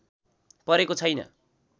परेको छैन